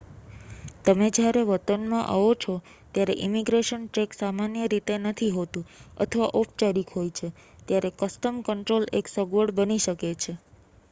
તમે જ્યારે વતનમાં આવો છો ત્યારે ઈમિગ્રેશન ચેક સામાન્ય રીતે નથી હોતું અથવા ઔપચારિક હોય છે ત્યારે કસ્ટમ કંટ્રોલ એક અગવડ બની શકે છે